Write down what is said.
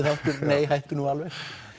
þáttur nei hættu nú alveg